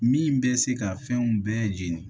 Min bɛ se ka fɛnw bɛɛ jeni